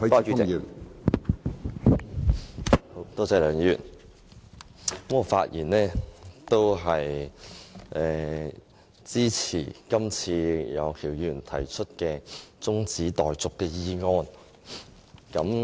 梁議員，我發言支持楊岳橋議員提出的中止待續議案。